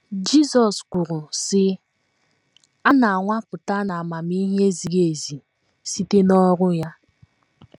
Jizọs kwuru,, sị: “ A na - anwapụta na amamihe ziri ezi site n’ọrụ ya. ”